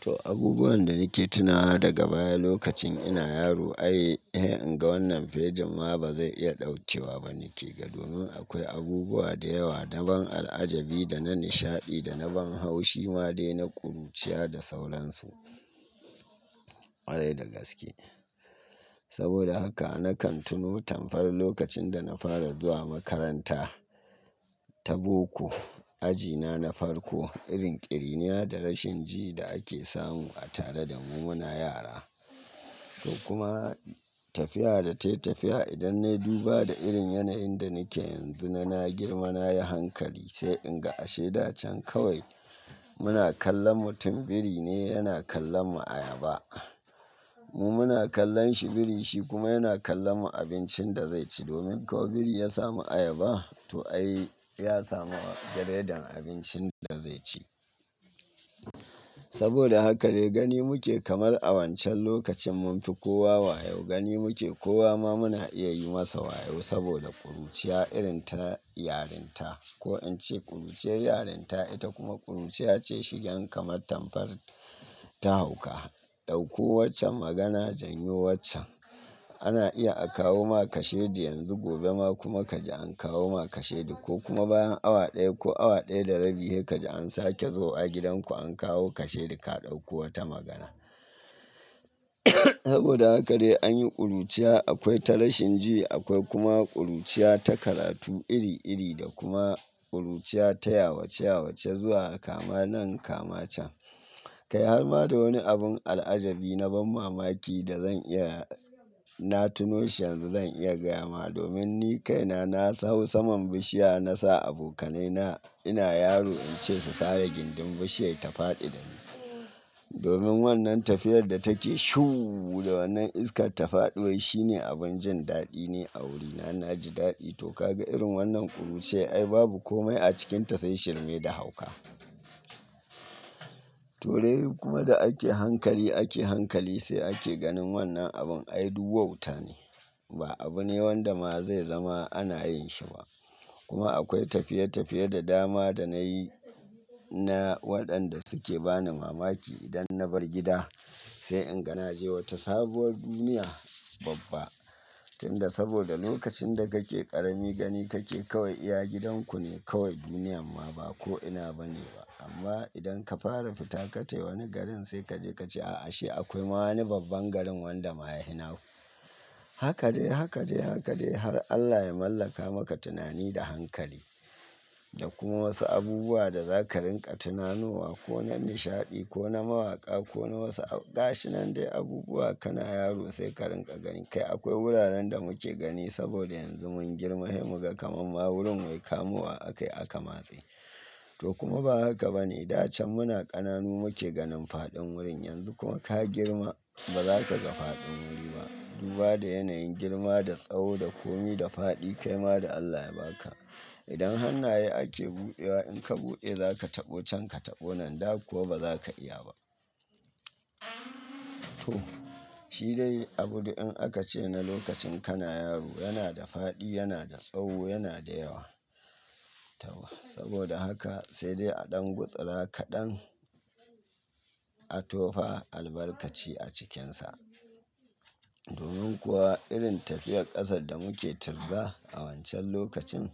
To abubuwan da nake tunawa da ga baya lokacin ina yaro, ai in ga wannan fegin ma ba zai iya ɗaukewa ba nake Ga domin akwai abubuwa da yawa da ban al'ajabi da na nishaɗi da na ban haushi ma dai na ƙuruciya da sauransu. Kwarai dai da gaske. Saboda haka nakan tuno tambayar lokacin da na fara zuwa makaranta ta boko, aji na na farko, irin ƙiriniya da rashin ji da ake samu a tare da mu muna yara. To kuma tafiya da ta yi tafiya idan na yi duba da irin yanayin da nake yanzu na na girma na yi hankali sai in ga ashe da can kawai muna kallon mutum biri ne yana kallon mu ayaba. Mu muna kallon shi birin shi kuma yana kallon mu abincin da zai ci. Domin kawai biri ya samu ayaba to ai ya samu giredin abincin da zai ci. Saboda haka dai gani muke kamar a wancan lokacin mun fi kowa wayo gani muke kowa ma muna iya yi masa wayo saboda ƙuruciya irin ta yarinta. Ko in ce ƙuruce yarinta ita kuma ƙuruciya ce shigan kamar tamkar ta hauka. Ɗauko waccan magana janyo waccan. Ana iya a kawo ma kasheɗi yanzu gobe ma kuma kaji an kawo ma kasheɗi ko kuma bayan awa ɗaya ko awa ɗaya da rabi, sai kaji an sake zo a gidanku an kawo kasheɗi ka ɗauko wata magana. Saboda haka dai anyi ƙuruciya akwai ta rashin ji akwai kuma ƙuruciya ta karatu iri iri da kuma ƙuruciya ta yawace yawace zuwa kama nan kama can. Kai har ma da wani abun al'ajabi na ban mamaki da zan iya na tuno shi yanzu zan iya gaya ma domin ni kaina na hawo saman bishiya na sa abokanai na ina yaro in ce su sare gindin bishiyar ta faɗi da ni. Domin wannan tafiyar da take shuuu da wannan iskar ta faɗuwar shine abun jin daɗi ni a wurina na ji daɗi to ka ga irin wannan ƙuruciyar ai babu komai a cikinta sai shirme da hauka. To dai kuma da ake hankali ake hankali sai ake ganin wannan abun ai duk wauta ne. Ba abu ne wanda ma zai zama ana yin shi ba. Kuma akwai tafiye tafiye da dama da nayi na waɗanda suke bani mamaki idan na bar gida sai in ga na je wata sabuwar duniya babba. Tunda saboda lokacin da kake ƙarami gani kake kawai iya gidan ku ne kawai duniyan ma ba ko ina ba ne ba. Amma idan ka fara fita ka tafi wani garin sai kaje ka ce a'a ashe akwai ma wani babban garin wanda ma ya fi naku. Haka dai haka dai haka dai har Allah ya mallaka maka tunani da hankali. Da kuma wasu abubuwa da za ka ringa tunanowa ko na nishaɗi ko na mawaka ko na wasu gashi nan dai abubuwa ka na yaro sai ka ringa gani. Kai akwai wuraren da muke gani saboda yanzu mun girma, sai muka kama ma wurin wai kamuwa a kai aka matse. To kuma ba haka ba ne, da can muna ƙananu muke ganin faɗin wurin yanzu kuma ka girma ba za ka ga faɗin wuri ba. Duba da yanayin girma da tsawo da komi da faɗi kai ma da Allah ya ba ka. Idan hannaye ake buɗewa in ka buɗe za ka taɓo can ka taɓo nan, da kuwa ba za ka iya ba. To shi dai abun dai in aka ce na lokacin kana yaro yana da faɗi yana da tsawo yana da yawa. Tawa. Saboda haka sai dai a ɗan gutsura kaɗan a tofa albarkaci a cikinsa. Domin kuwa irin tafiyar ƙasar da muke tirga a wancan lokacin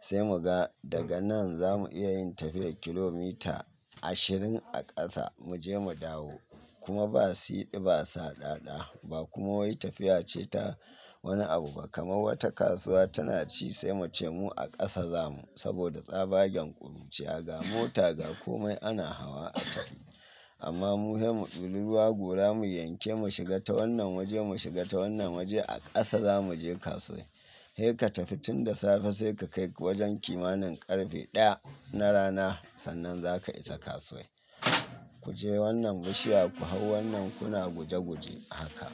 sai muga daga nan za mu iya yin tafiyar kilomita ashirin a ƙasa mu je mu dawo. Kuma ba siɗi ba saɗaɗa ba kuma wai tafiya ce ta wani abu ba kamar wata kasuwa tana ci sai mu ce mu a ƙasa za mu saboda tsabagen ƙuruciya ga mota ga komai ana hawa a tafi. Amma mu sai mu ɗilu ruwa gora mu yanke mu shiga ta wannan waje mu shiga ta wannan waje a ƙasa za mu je kasuwar. Hei ka tafi tun da safe sai ka kai wajen kimanin ƙarfe ɗaya na rana sannan za ka isa kasuwar. Ku je wannan bishiya ku hau wannan kuna guje guje haka.